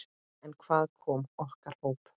En hvað með okkar hóp?